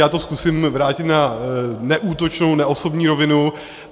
Já to zkusím vrátit na neútočnou neosobní rovinu.